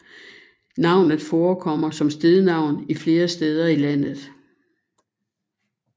Navnet forekommer som stednavn flere steder i landet